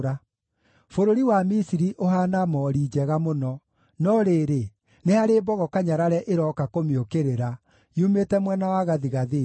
“Bũrũri wa Misiri ũhaana moori njega mũno, no rĩrĩ, nĩ harĩ mbogo kanyarare ĩrooka kũmĩũkĩrĩra, yumĩte mwena wa gathigathini.